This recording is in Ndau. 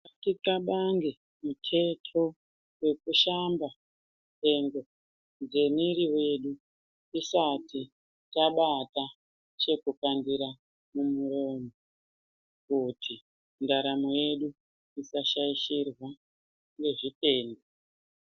Tinhxlabange muteto wekushamba nhengo dzemiri yedu tisati tabata chekufambira mumoyo kuti ndaramo yedu isashaishirwa ngezvitenda.